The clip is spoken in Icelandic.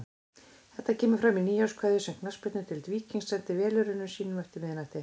Þetta kemur fram í nýárskveðju sem Knattspyrnudeild Víkings sendi velunnurum sínum eftir miðnætti.